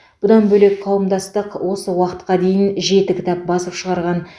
бұдан бөлек қауымдастық осы уақытқа дейін жеті кітап басып шығарған